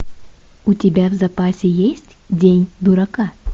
у тебя в запасе есть день дурака